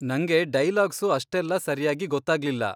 ನಂಗೆ ಡೈಲಾಗ್ಸು ಅಷ್ಟೆಲ್ಲ ಸರ್ಯಾಗಿ ಗೊತ್ತಾಗ್ಲಿಲ್ಲ.